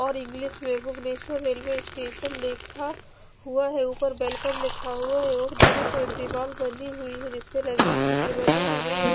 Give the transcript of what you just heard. और इग्लिश में Bhubaneswar railway station लिखा हुआ है उपर वेलकम लिखा हुआ है और दोनों साइड दीवार बनी हुई है जिसपे रंगीन चित्र बने हुए है।